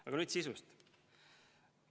Aga nüüd sisust.